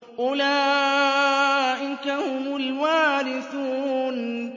أُولَٰئِكَ هُمُ الْوَارِثُونَ